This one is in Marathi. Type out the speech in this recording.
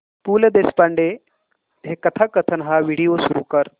पु ल देशपांडे कथाकथन हा व्हिडिओ सुरू कर